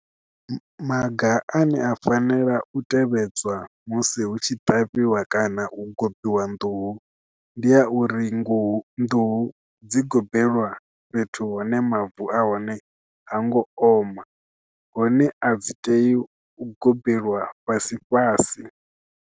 Maga ane a fanela u tevhedzwa musi hu tshi ṱavhiwa kana u gobiwa nḓuhu ndi a uri nḓuhu dzi gobela fhethu hone mavu a hone ha ngo oma hune a dzi tei u gobiwa fhasi fhasi.